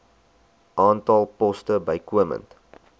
aantal poste bykomend